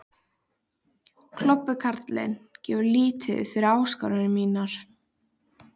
Klobbi karlinn gefur lítið fyrir áskoranir mínar.